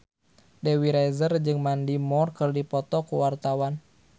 Dewi Rezer jeung Mandy Moore keur dipoto ku wartawan